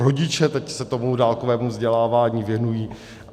Rodiče se teď tomu dálkovému vzdělávání věnují.